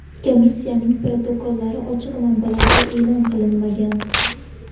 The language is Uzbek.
Komissiyaning protokollari ochiq manbalarda e’lon qilinmagan.